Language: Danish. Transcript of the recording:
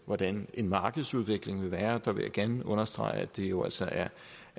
hvordan markedsudviklingen vil være der vil jeg gerne understrege at det jo altså er